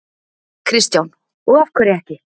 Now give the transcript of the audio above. Kristján: Og af hverju ekki?